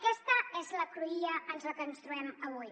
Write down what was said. aquesta és la cruïlla en la que ens trobem avui